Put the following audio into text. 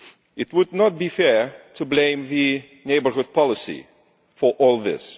It would not be fair to blame the Neighbourhood Policy for all this.